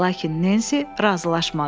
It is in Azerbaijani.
Lakin Nensi razılaşmadı.